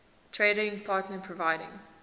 trading partner providing